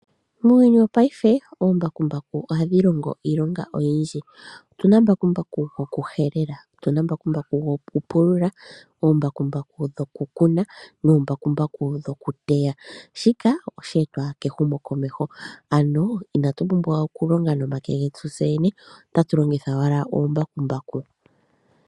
Muuyuni wopaife, oombakumbaku ohadhi longo iilonga oyindji. Opuna mbakumbaku gwokuhelela, mbakumbaku gwokupulula, mbakumbaku gwokukuna, noombakumbaku dhokuteya. Shika oshe etwa kehumokomeho, ano inatu pumbwa okulonga nomake getu tse yene, otatu longitha owala oombakumbaku.